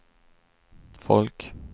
folk